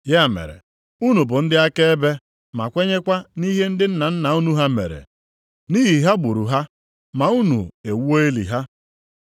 Ya mere, unu bụ ndị akaebe ma kwenyekwa nʼihe ndị nna nna unu ha mere, nʼihi ha gburu ha, ma unu e wuo ili ha.